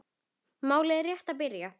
Málið er rétt að byrja.